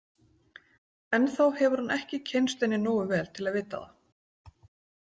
Ennþá hefur hún ekki kynnst henni nógu vel til að vita það.